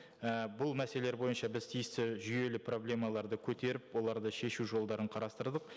і бұл мәселелер бойынша біз тиісті жүйелі проблемаларды көтеріп оларды шешу жолдарын қарастырдық